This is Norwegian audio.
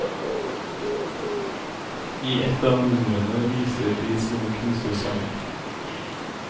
I et av numrene viser de sine kunster sammen.